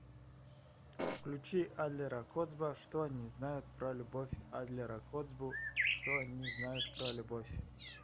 включи адлера коцба что они знают про любовь адлера коцбу что они знают про любовь